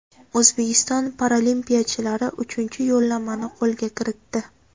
O‘zbekiston paralimpiyachilari uchinchi yo‘llanmani qo‘lga kiritdi.